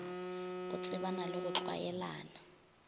o tsebana le go tlwaelana